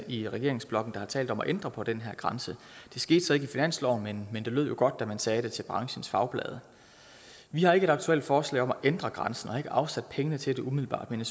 i regeringsblokken der har talt om at ændre på den her grænse det skete så ikke i finansloven men det lød jo godt da man sagde det til branchens fagblade vi har ikke et aktuelt forslag om at ændre grænsen og har ikke afsat pengene til det umiddelbart men